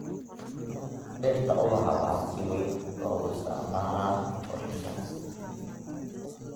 Dhirta ubaxa waxaa si weyn loogu isticmaalaa qurxinta.